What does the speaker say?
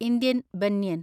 Indian banyan